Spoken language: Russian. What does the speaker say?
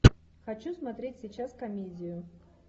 хочу смотреть сейчас комедию